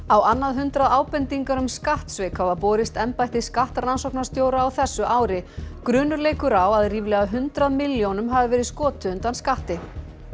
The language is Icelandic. á annað hundrað ábendingar um skattsvik hafa borist embætti skattrannsóknarstjóra á þessu ári grunur leikur á að ríflega hundrað milljónum hafi verið skotið undan skatti